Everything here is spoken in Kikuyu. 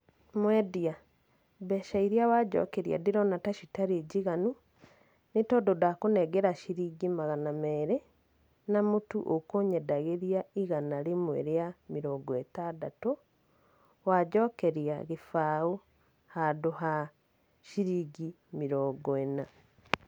Mwendia, mbeca iria wanjokeria ndĩrona ta citarĩ njiganu, nĩ tondũ ndakũnengera ciringi magana merĩ, na mũtu ũkũnyendagĩria igana rĩmwe rĩa mĩrongo ĩtandatũ, wanjokeria gĩbaũ handũ ha ciringi mĩrongo ĩna.